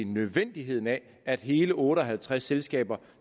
nødvendigheden af at hele otte og halvtreds selskaber